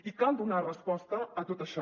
i cal donar resposta a tot això